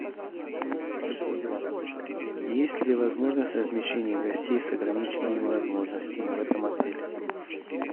есть ли возможность размещения гостей с ограниченными возможностями в этом отеле